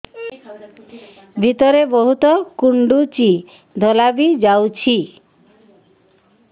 ଭିତରେ ବହୁତ କୁଣ୍ଡୁଚି ଧଳା ବି ଯାଉଛି